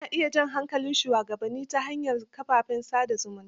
Ana iya jan hankalin shugabanni ta hanyar kafafen sa da zumunta.